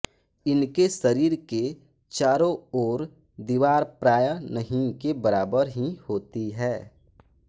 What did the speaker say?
इनके शरीर के चारों ओर दीवार प्राय नहीं के बराबर ही होती है